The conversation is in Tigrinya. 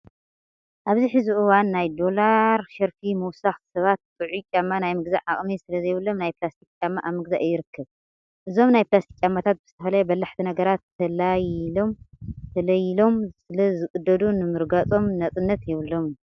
ኣብዚ ሕዚ እዋን ናይ ዶላር ሸርፊ ምውሳኽ ሰባት ጥዑይ ጫማ ናይ ምግዛእ ዓቅሚ ስለዘይብሎም ናይ ፕላስቲክ ጫማ ኣብ ምግዛእ ይርከብ። እዞም ናይ ፕላስቲክ ጫማታት ብዝተፈላለየ በላሕቲ ነገራት ተለይሎም ስለዝቅደዱ ንምርጋፆም ነፃነት የብሎምን።